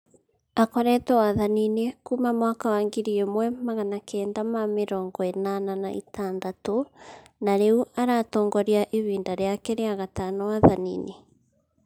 Akoretwe wathaninĩ kuuma mwaka wa ngiri ĩmwe magana kenda ma mĩrongo ĩnana na itadatũ na riu aratongoria ĩbinda rĩake rĩa gatano wathaninĩ